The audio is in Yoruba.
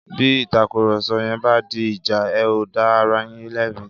Bí ìtàkùrọ̀sọ yẹn bá di ìjà, ẹ̀ ó dá ara yín lẹ́bi